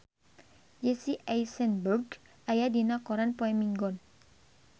Jesse Eisenberg aya dina koran poe Minggon